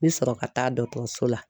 N bɛ sɔrɔ ka taa dɔkɔtɔrɔso la